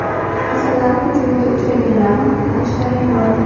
Asalari hujumiga uchraganlarni qutqarish jarayoni.